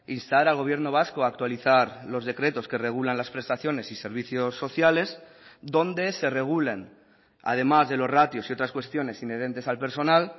instar al gobierno vasco a actualizar los decretos que regulan las prestaciones y servicios sociales donde se regulen además de los ratios y otras cuestiones inherentes al personal